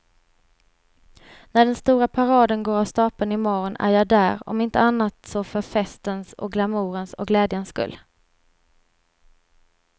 När den stora paraden går av stapeln i morgon är jag där, om inte annat så för festens och glamourens och glädjens skull.